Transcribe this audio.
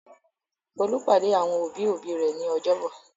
Folú pàdé àwọn òbí-òbí rẹ̀ ní ọjọ́bọ̀.